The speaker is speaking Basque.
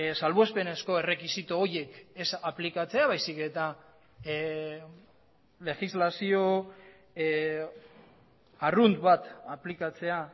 salbuespenezko errekisito horiek ez aplikatzea baizik eta legislazio arrunt bat aplikatzea